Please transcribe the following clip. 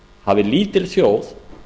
hafi lítil þjóð